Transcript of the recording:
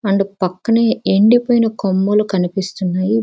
వాలు పక్కనే ఎండిపోయిన కొమ్మలు కనిపిస్తున్నాయి.